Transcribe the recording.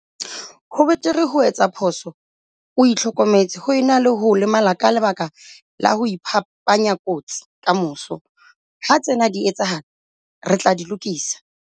Ho betere ho etsa phoso o itlhokemetse ho e na le ho lemala ka lebaka la ho iphapanya kotsi kamoso. Ha tsena di etsahala, re tla di lokisa.